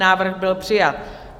Návrh byl přijat.